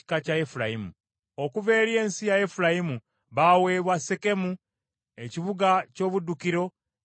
Okuva eri ensi ya Efulayimu baaweebwa Sekemu, ekibuga ky’obuddukiro, Gezeri,